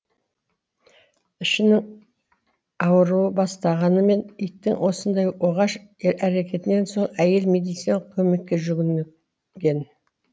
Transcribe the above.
ішінің ауыру бастағаны мен иттің осындай оғаш әрекетінен соң әйел медициналық көмекке жүгін ген